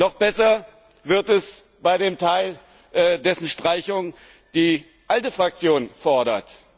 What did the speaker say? Noch besser wird es bei dem Teil, dessen Streichung die ALDE Fraktion fordert.